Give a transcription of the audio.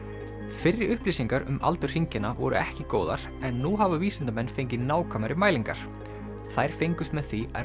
fyrri upplýsingar um aldur hringjanna voru ekki góðar en nú hafa vísindamenn fengið nákvæmari mælingar þær fengust með því að